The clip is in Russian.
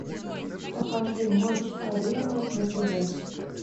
покажи матч арена на тв